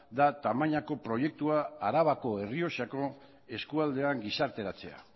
da tamainako proiektua arabako errioxako eskualdean gizarteratzea